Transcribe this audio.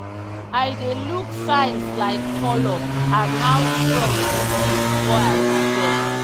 i dey look signs like colour and how strong e be before i harvest.